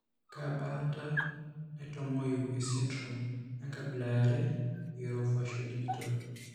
Kaa baata natumoyu esindirom enkabila eare eOrofaciodigital?